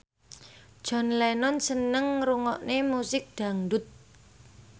John Lennon seneng ngrungokne musik dangdut